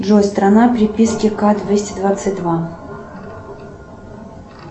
джой страна приписки к двести двадцать два